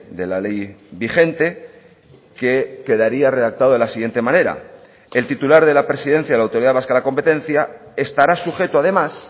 de la ley vigente que quedaría redactado de la siguiente manera el titular de la presidencia de la autoridad vasca de la competencia estará sujeto además